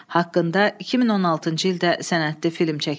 Haqqında 2016-cı ildə sənədli film çəkilib.